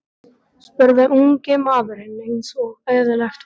spurði ungi maðurinn eins og eðlilegt var.